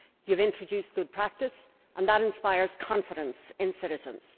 you have introduced good practice and that inspires confidence in citizens.